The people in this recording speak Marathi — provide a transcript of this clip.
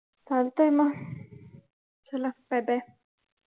चालतय मग चला bye bye